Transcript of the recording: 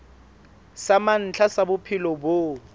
sa mantlha sa bophelo bo